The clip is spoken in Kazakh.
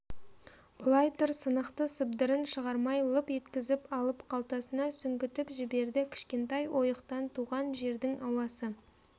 былай тұр сынықты сыбдырын шығармай лып еткізіп алып қалтасына сүңгітіп жіберді кішкентай ойықтан туған жердің ауасы